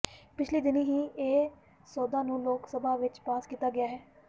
ਪਿਛਲੇ ਦਿਨੀਂ ਇਹ ਸੋਧਾਂ ਨੂੰ ਲੋਕ ਸਭਾ ਵਿਚ ਪਾਸ ਕੀਤਾ ਗਿਆ ਹੈ